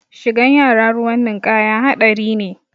Shigan yara ruwan ninkaya haɗari ne